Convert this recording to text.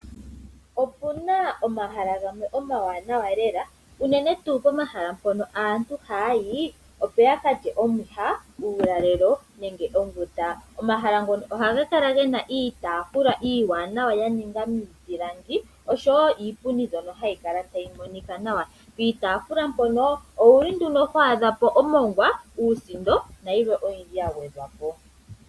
Opuna omahala gamwe omawanawa lela, unene tuu pomahala mpono aantu haya yi opo yaka lye omwiha, uulalelo nenge onguta. Omahala ngono ohaga kala gena iitafuula iiwanawa ya ningwa miipilangi oshowo iipundi mbyono hayi kala tayi monika nawa. Piitafuula mpono owuli nduno ho adhapo omongwa, uusindo nayilwe oyindji ya gwedhwapo.